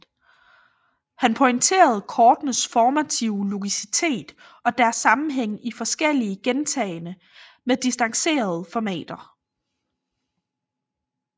Han pointerer kortenes formative logicitet og deres sammenhæng i forskellige gentagne med distancerede formater